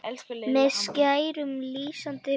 með skærum, lýsandi bjarma